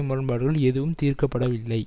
முரண்பாடுகள் எதுவும் தீர்க்க படவில்லை